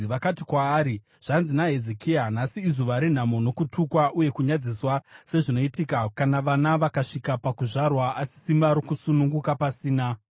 Vakati kwaari, “Zvanzi naHezekia: Nhasi izuva renhamo nokutukwa uye kunyadziswa, sezvinoitika kana vana vakasvika pakuzvarwa asi simba rokusununguka pasina.